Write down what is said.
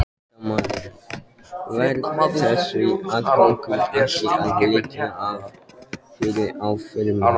Fréttamaður: Verða þessar aðgerðir ekki að liggja fyrir í fyrramálið?